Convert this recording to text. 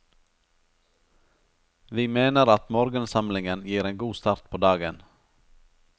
Vi mener at morgensamlingen gir en god start på dagen.